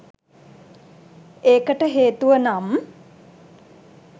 ඒකට හේතුව නම්